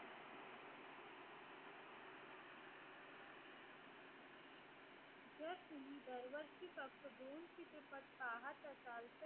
तुम्ही वर वरची पाहत असाल तर